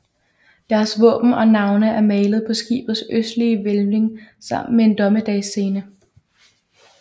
Deres våben og navne er malede på skibets østlige hvælving sammen med en dommedagsscene